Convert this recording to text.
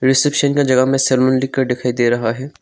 Reception का जगह में सरमन लिखकर दिखाई दे रहा है।